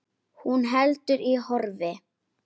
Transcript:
Hún heldur í horfi.